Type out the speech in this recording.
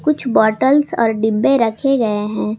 कुछ बॉटल्स और डिब्बे रखे गए हैं।